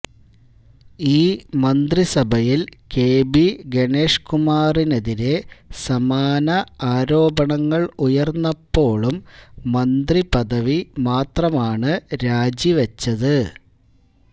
ഈ മന്ത്രിസഭയില് K B ഗണേഷ്കുമാറിനെതിരെ സമാന ആരോപണങ്ങള് ഉയര്ന്നപ്പോഴും മന്ത്രിപദവി മാത്രമാണ് രാജിവെച്ചത്